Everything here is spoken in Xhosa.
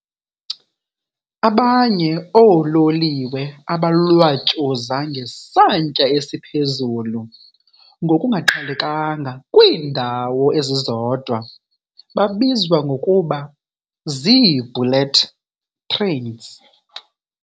Abanye oololiwe abalwatyuza ngesantya esiphuzulu ngokungaqhelelkanga kwiindawo ezizodwa babizwa ngokuba zii-"bullet trains".